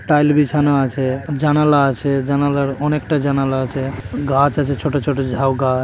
Tile বিছানো আছে জানালা আছে জানালার অনেকটা জানালা আছে গাছ আছে ছোট ছোট ঝাউগাছ।